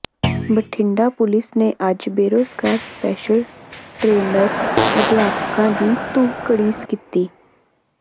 Bathinda police ਨੇ ਅੱਜ ਬੇਰੁਜ਼ਗਾਰ ਸਪੈਸ਼ਲ ਟਰੇਨਰ ਅਧਿਆਪਕਾਂ ਦੀ ਧੂਹ ਘੜੀਸ ਕੀਤੀ